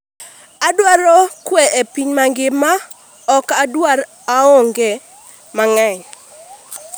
adwaro kwe e piny mangima, ok adwar, aonge mang'eny